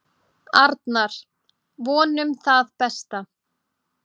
Arnar: Vonum það besta.